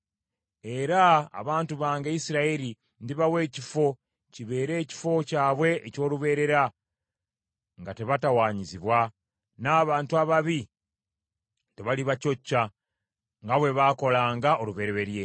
Era abantu bange Isirayiri ndibawa ekifo, kibeere ekifo kyabwe eky’olubeerera, nga tebatawanyizibwa, n’abantu ababi tebalibacocca, nga bwe baakolanga olubereberye,